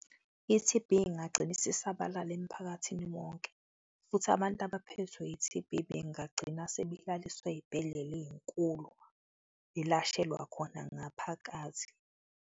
I-T_B ingagcina isisabalala emphakathini wonke futhi abantu abaphethwe i-T_B bengagcina sebelaliswa ezibhedlela ezinkulu, ilashelwa khona ngaphakathi.